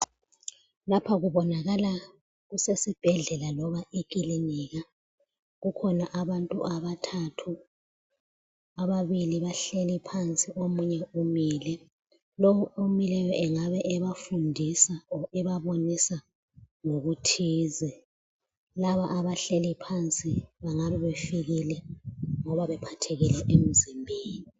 Lapha kubonakala kusesibhedlela loba ekilinika. Kukhona abantu abathathu, ababili bahleli phansi omunye umile. Lo omileyo engabe ebafundisa kumbe ebabonisa ngokuthize. Laba abahleli phansi bengabe befikile ngoba bephathekile emzimbeni.